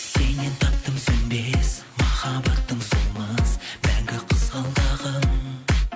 сеннен таптым сөнбес махаббаттың солмас мәңгі қызғалдағын